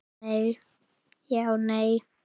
Já en.